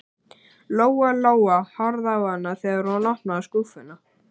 Lóa Lóa horfði á hana þegar hún opnaði skúffuna.